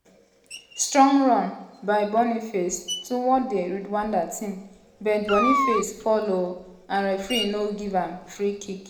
strong run by boniface towards di rwanda team but boniface fall oooo and referee no give am free kick.